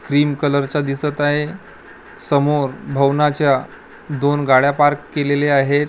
Green कलरचा दिसतं आहे समोर भवनाच्या दोन गाड्या पार्क केलेले आहेत.